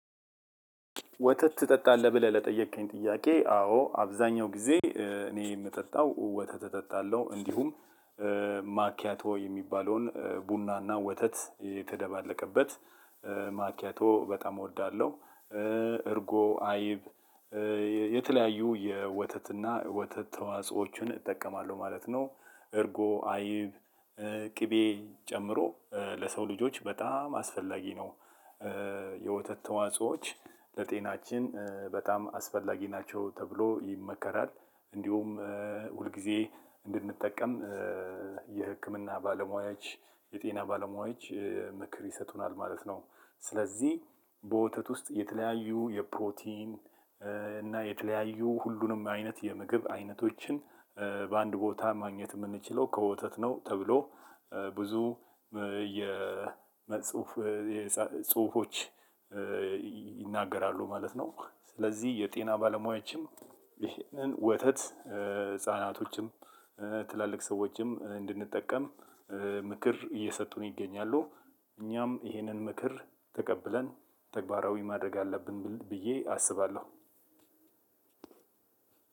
ወተት ትጠጣለህ ብለህ ለጠየከኝ ጥያቄ አዎ አብዛኛው ጊዜ እኔ የምጠጣው ወተት እጠጣለሁ እንዲሁም ማኪያቶ የሚባለውን ቡናና ወተት የተደባለቀበት ማኪያቶ በጣም እወዳለሁ። እርጎ አይብ የተለያዩ የወተትና ወተት ተዋጾዎችን እጠቀማለሁ ማለት ነው። እርጎ አይብ ቅቤ ጨምሮ ለሰው ልጆች በጣም አስፈላጊ ነው። የወተት ተዋጾዎች ለጤናችን በጣም አስፈላጊ ናቸው ተብሎ ይመከራል። እንዲሁም ሁል ጊዜ እንድንጠቀም የህክምና ባለሙያዎች የጤና ባለሙያዎች ምክር ይሰጡናል ማለት ነው። ስለዚህ በወተት ውስጥ የተለያዩ የፕሮቲን እና የተለያዩ ሁሉንም አይነት የምግብ አይነቶችን በአንድ ቦታ ማግኘት የምንችለው ከወተት ነው ተብሎ ብዙ የጽሁፍ ጽሁፎች ይናገራሉ ማለት ነው። ስለዚህ የጤና ባለሙያዎችም ይህንን ወተት ህፃናቶችም ትላልቅ ሰዎችም እንድንጠቀም ምክር እየሰጡን ይገኛሉ። እኛም ይሄንን ምክር ተቀብለን ተግባራዊ ማድረግ አለብን ብዬ አስባለሁ።